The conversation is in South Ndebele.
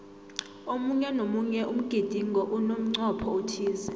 omunye nomunye umgidingo unemncopho othize